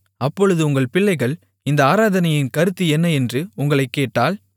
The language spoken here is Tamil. அப்பொழுது உங்கள் பிள்ளைகள் இந்த ஆராதனையின் கருத்து என்ன என்று உங்களைக் கேட்டால்